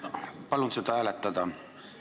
Palun seda hääletada!